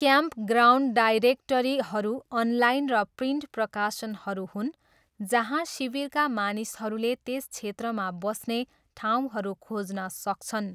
Campground डाइरेक्टरीहरू online र print प्रकाशनहरू हुन् जहाँ शिविरका मानिसहरूले त्यस क्षेत्रमा बस्ने ठाउँहरू खोज्न सक्छन्।